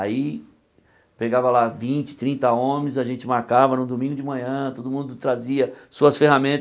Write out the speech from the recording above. Aí, pegava lá vinte, trinta homens, a gente marcava no domingo de manhã, todo mundo trazia suas ferramentas.